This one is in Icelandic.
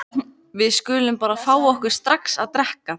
Við skulum bara fá okkur strax að drekka.